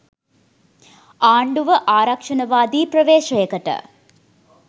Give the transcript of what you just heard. ආණ්ඩුව ආරක්‍ෂණවාදී ප්‍රවේශයකට